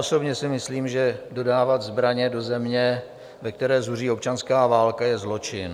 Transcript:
Osobně si myslím, že dodávat zbraně do země, ve které zuří občanská válka, je zločin.